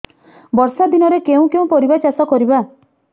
ବର୍ଷା ଦିନରେ କେଉଁ କେଉଁ ପରିବା ଚାଷ କରିବା